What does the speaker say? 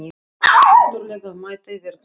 Ég þarf náttúrlega að mæta á verkstæðið.